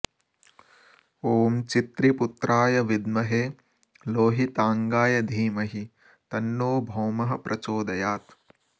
ॐ चित्रिपुत्राय विद्महे लोहितांगाय धीमहि तन्नो भौमः प्रचोदयात्